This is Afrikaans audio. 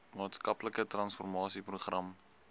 maatskaplike transformasie program